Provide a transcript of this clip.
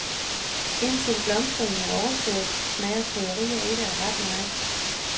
Indtil blomstringen er overstået, smager krydderier ikke af ret meget.